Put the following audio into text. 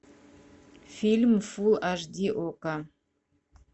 фильм фулл аш ди окко